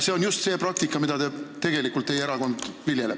See on just see praktika, mida teie erakond tegelikult viljeleb.